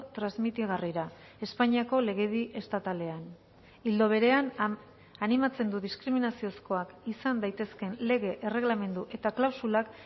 transmitigarrira espainiako legedi estatalean ildo berean animatzen du diskriminaziozkoak izan daitezkeen lege erregelamendu eta klausulak